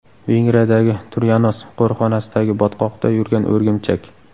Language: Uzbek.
Vengriyadagi Turyanos qo‘riqxonasidagi botqoqda yurgan o‘rgimchak.